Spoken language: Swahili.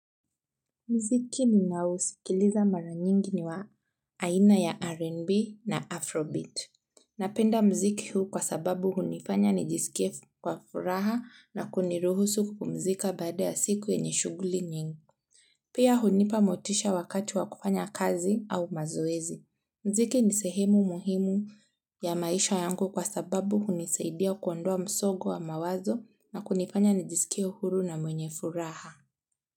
Mziki ninaousikiliza mara nyingi ni wa aina ya R&B na Afrobeat. Napenda mziki huu kwa sababu hunifanya nijisikie kwa furaha na kuniruhusu kupumzika baada ya siku yenye shughuli nyingi pia hunipa motisha wakati wa kufanya kazi au mazoezi. Mziki ni sehemu muhimu ya maisha yangu kwa sababu hunisaidia kuondoa msongo wa mawazo na kunifanya nijisikie huru na mwenye furaha.